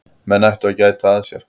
Menn ættu að gæta að sér.